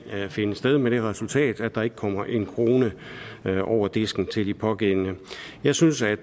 finde sted med det resultat at der ikke kommer en krone over disken til de pågældende jeg synes at